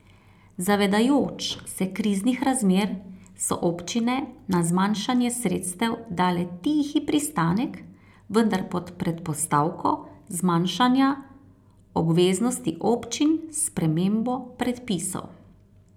Zavedajoč se kriznih razmer, so občine na zmanjšanje sredstev dale tihi pristanek, vendar pod predpostavko zmanjšanja obveznosti občin s spremembo predpisov.